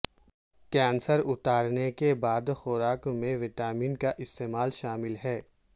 cancer اتارنے کے بعد خوراک میں وٹامن کا استعمال شامل ہے